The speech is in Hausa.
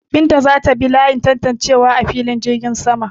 Binta za ta bi layin tantancewa a filin jirgin saman.